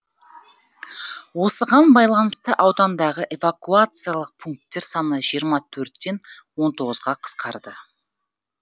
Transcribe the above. осыған байланысты аудандағы эвакуациялық пункттер саны жиырма төрттен он тоғызға қысқарды